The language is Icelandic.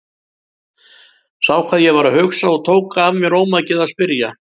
Sá hvað ég var að hugsa og tók af mér ómakið að spyrja.